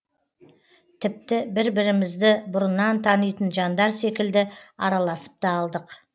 тіпті бір бірімізді бұрыннан танитын жандар секілді араласып та алдық